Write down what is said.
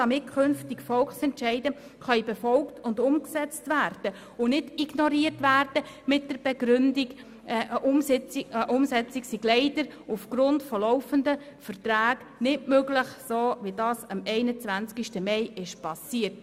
Dadurch können Volksentscheide künftig befolgt und umgesetzt und nicht mehr mit der Begründung ignoriert werden, eine Umsetzung sei leider aufgrund von laufenden Verträgen nicht möglich, wie das am 21. Mai geschehen ist.